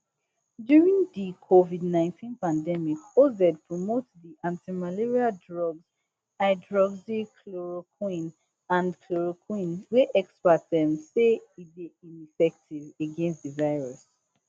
during di covidnineteen pandemic oz promote di antimalaria drugs hydroxychloroquine and chloroquine wey experts um say e dey ineffective against di virus